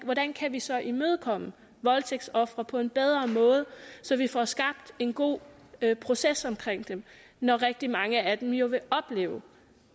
hvordan kan vi så imødekomme voldtægtsofre på en bedre måde så vi får skabt en god proces omkring dem når rigtig mange af dem jo vil opleve